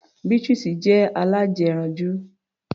Beatrice jẹ́ alájẹranjú.